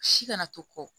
Si kana to kɔ